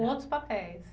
Com outros papéis.